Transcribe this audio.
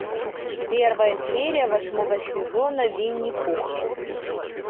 первая серия восьмого сезона винни пух